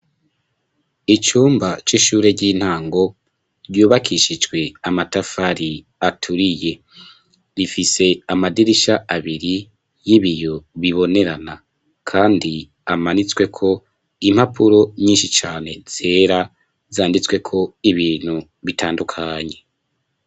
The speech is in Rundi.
Icumba, c'ishure ry'intango, ryubakishijwe amatafari aturiye; rifise amadirisha abiri y'ibiyo bibonerana, kandi amanitsweko impapuro nyinshi cane, zera, zanditsweko ibintu bitandukanye.